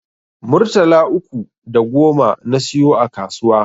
Murtala uku da goma na siyo a kasuwa